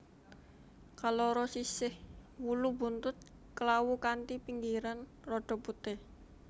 Kaloro sisih wulu buntut klawu kanthi pinggiran rada putih